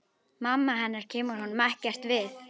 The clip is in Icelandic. Mamma hennar kemur honum ekkert við.